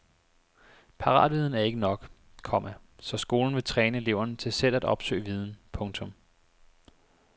Paratviden er ikke nok, komma så skolen vil træne eleverne til selv at opsøge viden. punktum